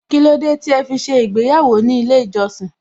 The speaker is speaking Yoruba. Kílódé tí ẹ fi ṣe ìgbéyàwó ní ilé ìjọsìn?